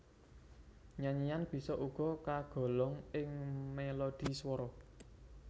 Nyanyian bisa uga kagolong ing melodhi swara